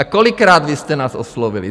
A kolikrát vy jste nás oslovili?